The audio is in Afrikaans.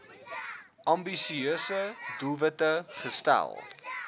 ambisieuse doelwitte gestel